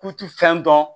K'u ti fɛn dɔn